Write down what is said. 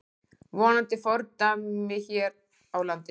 Vonandi fordæmi hér á landi